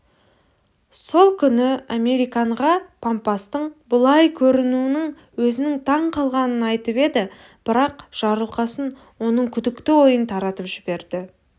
сол күні американға пампастың бұлай көрінуіне өзінің таң қалғанын айтып еді бірақ жарылқасын оның күдікті ойын таратып жіберді